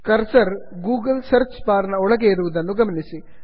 cursor Google Google search bar ನ ಒಳಗೆ ಇರುವುದನ್ನು ಗಮನಿಸಿ